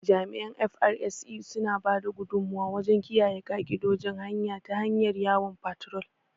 Jami’an "FRSC", suna ba da gudummuwa wajen kiyaye ka’idojin hanya ta hanyar yawon fatrol